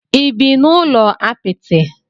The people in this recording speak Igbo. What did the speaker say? Ị bi n'ụlọ apịtị?